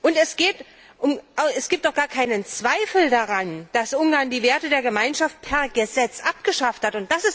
Und es gibt doch gar keinen Zweifel daran, dass Ungarn die Werte der Gemeinschaft per Gesetz abgeschafft hat.